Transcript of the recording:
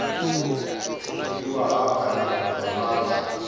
pfukiwa ha pfanelo dza vhuthu